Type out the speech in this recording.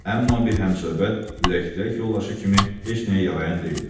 Amma bir həmsöhbət, ürəktək yoldaşı kimi heç nəyə yarayan deyildi.